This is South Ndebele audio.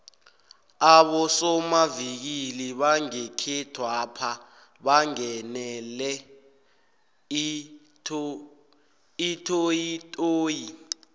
abosomavikili bangekhethwapha bangenele itoyitoyi